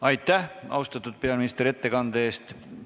Aitäh, austatud peaminister, ettekande eest!